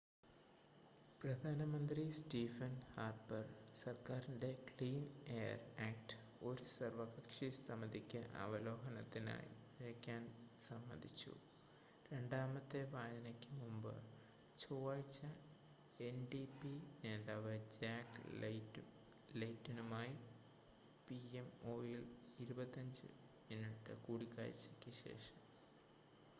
പ്രധാനമന്ത്രി Stephen Harper സർക്കാരിൻ്റെ Clean Air Act ഒരു സർവ്വകക്ഷി സമിതിക്ക് അവലോകനത്തിനായി അയയ്ക്കാൻ സമ്മതിച്ചു രണ്ടാമത്തെ വായനയ്ക്ക് മുമ്പ് ചൊവ്വാഴ്ച എൻഡിപി നേതാവ് ജാക്ക് ലെയ്റ്റനുമായി പിഎംഒയിൽ 25 മിനിറ്റ് കൂടിക്കാഴ്ചയ്ക്ക് ശേഷം